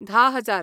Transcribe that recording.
धा हजार